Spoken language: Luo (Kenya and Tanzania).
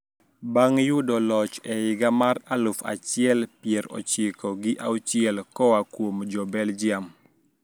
Bang` yudo loch e higa mar aluf achiel pier ochiko gi auchiel koa kuom jo Belgium